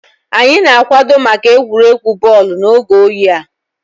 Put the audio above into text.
Anyị na-akwado maka egwuregwu bọọlụ n'oge oyi a